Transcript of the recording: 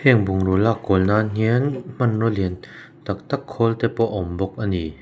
heng bungraw lak kual nan hian hmanraw lian tak tak khawl te pawh a awm bawk ani.